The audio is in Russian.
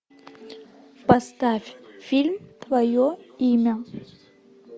поставь фильм твое имя